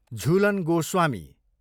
Jhulan Goswami